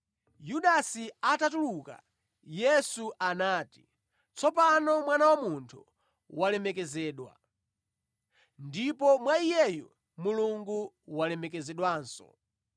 Yudasi atatuluka, Yesu anati, “Tsopano Mwana wa Munthu walemekezedwa, ndipo mwa Iyeyu Mulungu walemekezedwanso.